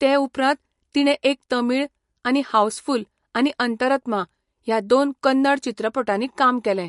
ते उपरांत, तिणें एक तमीळ, आनी हावसफुल्ल आनी अंतरात्मा ह्या दोन कन्नड चित्रपटांनी काम केलें.